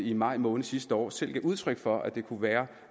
i maj måned sidste år selv gav udtryk for at det kunne være